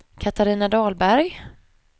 Catarina Dahlberg